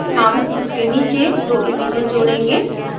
हम उसके नीचे 2 images जोड़ेंगे